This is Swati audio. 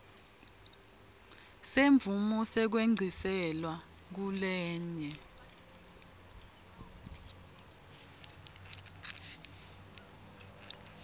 semvumo yekwengciselwa kulenye